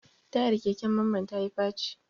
Tayar keken Mamman ya yi faci.